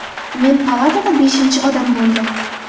Men palatada beshinchi odam bo‘ldim.